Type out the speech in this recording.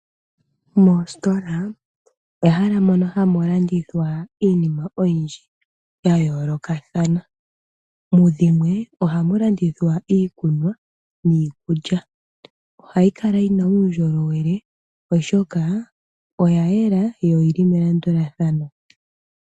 Moositola ehala mono hamu landithwa iinima oyindji ya yoolokathana. Mu dhimwe ohamu landithwa iikunwa niikulya. Ohayi kala yi na uundjolowele, oshoka oya yela yo oyi li melandulathano.